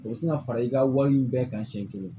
O bɛ se ka fara i ka wale bɛɛ kan siɲɛ kelen